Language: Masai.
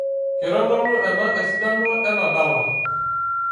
Keitodolu ena esidano ena dala